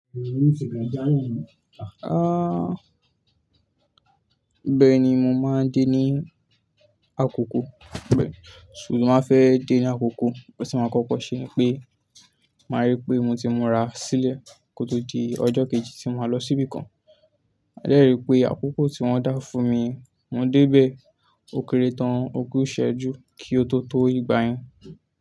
Bẹ́ẹ̀ ni, mo máa ń dé ní àkókò, bẹ́ẹ̀. So mo máa fẹ́ dé ní àkókò, bí mo bá kọ́kọ́ ṣe ni pé màá ríi pé mo ti múra sílẹ̀ kó tó di ọjọ́ kejì tí màá lọ síbìkan. A dẹ́rìí pé àkókò tí wọ́n dá fún mi, mo dé bẹ́ẹ̀ ó kéré tán ogún ìṣẹ́jú kí ó tó tó ìgbà yẹn.